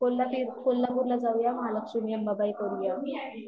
कोल्हापिर, कोल्हापूरला जाऊया महालक्ष्मी अंबाबाई करुया